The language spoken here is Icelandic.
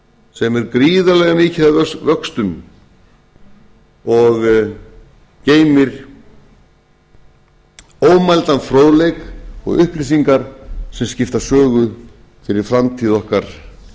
sem er gríðarlega mikið að vöxtum og geymir ómældan fróðleik og upplýsingar sem skipta sögu fyrir framtíð okkar